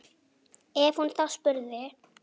Ef hún þá spurði.